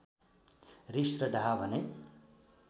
रिस र डाहा भने